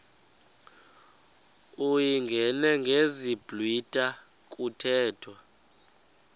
uyingene ngesiblwitha kuthethwa